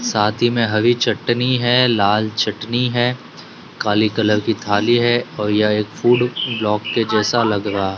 साथ ही में हरी चटनी है लाल चटनी है काली कलर की थाली है और यह एक फूड ब्लॉक के जैसा लग रहा--